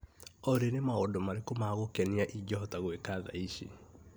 Olĩ nĩ maũndũ marĩkũ ma gũkenia ingĩhota gweka thaa ici.